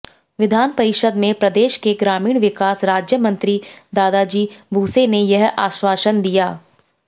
विधान परिषद में प्रदेश के ग्रामीण विकास राज्य मंत्री दादाजी भुसे ने यह आश्वासन दिया